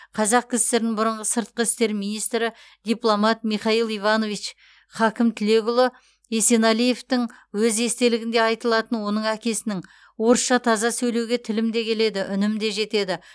қазақ кср нің бұрынғы сыртқы істер министрі дипломат михаил иванович хакім тілекұлы есенәлиевтің өз естелігінде айтылатын оның әкесінің орысша таза сөйлеуге тілім де келеді үнім де жетеді